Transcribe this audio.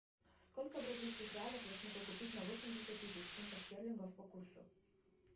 сколько бразильских реалов я смогу купить на восемьдесят тысяч фунтов стерлингов по курсу